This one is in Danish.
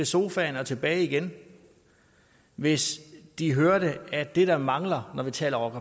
sofaen og tilbage igen hvis de hørte at det der mangler når vi taler om